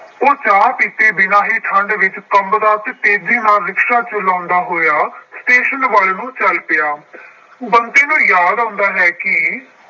ਉਹ ਚਾਹ ਪੀਤੇ ਬਿਨਾ ਹੀ ਠੰਡ ਵਿੱਚ ਕੰਬਦਾ ਅਤੇ ਤੇਜ਼ੀ ਨਾਲ ਰਿਕਸ਼ਾ ਚਲਾਉਂਦਾ ਹੋਇਆ ਸਟੇਸ਼ਨ ਵੱਲ ਨੂੰ ਚੱਲ ਪਿਆ। ਬੰਤੇ ਨੂੰ ਯਾਦ ਆਉਂਦਾ ਹੈ ਕਿ